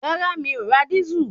Rárá mi ò ra dísù